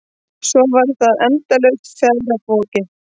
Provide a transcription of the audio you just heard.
Svo var það endalaust ferðavolkið.